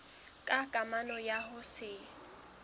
ka kamano ya ho se